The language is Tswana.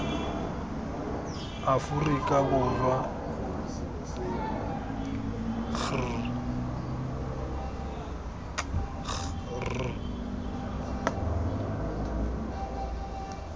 aforika borwa k g r